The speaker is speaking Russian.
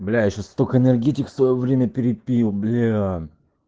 бля я ещё столько энергетик в своё время перепил бля